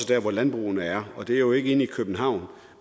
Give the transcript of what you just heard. derud hvor landbrugene er det er jo ikke inde i københavn